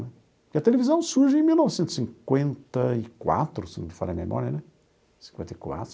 A televisão surge em mil novecentos e cinquenta e quatro, se não me falha a memória, né? Cinquenta e quatro.